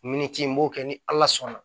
Miniti n b'o kɛ ni ala sɔnna